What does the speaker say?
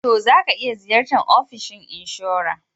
To, za ka iya Ziyartan kamfanin inshora.